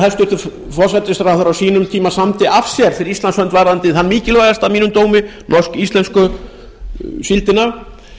hæstvirtur núverandi forsætisráðherra á sínum tíma samdi af sér fyrir íslands hönd varðandi það mikilvægasta að mínum dómi norsk íslensku síldina